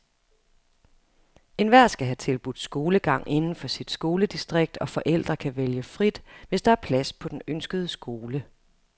Enhver skal have tilbudt skolegang inden for sit skoledistrikt, og forældre kan vælge frit, hvis der er plads på den ønskede skole.